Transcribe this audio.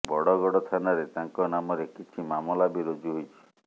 ବଡ଼ଗଡ଼ ଥାନାରେ ତାଙ୍କ ନାମରେ କିଛି ମାମଲା ବି ରୁଜୁ ହୋଇଛି